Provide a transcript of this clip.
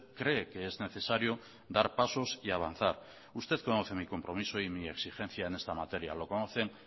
cree que es necesario dar pasos y avanzar usted conoce mi compromiso y mi exigencia en esta materia lo conocen